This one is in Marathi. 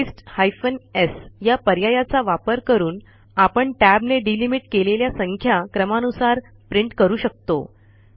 पास्ते हायफेन sया पर्यायाचा वापर करून आपण Tab ने delimitकेलेल्या संख्या क्रमानुसार प्रिंट करू शकतो